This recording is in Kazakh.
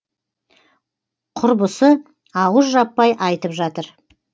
құрбысы ауыз жаппай айтып жатыр